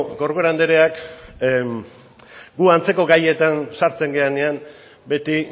corcuera andereak gu antzeko gaietan sartzen garenean beti